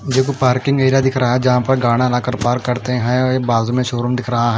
मुझे वो parking area दिख रहा है जहाँ पर ला कर पार्क करते है बाजू में शोरूम दिख रहा है।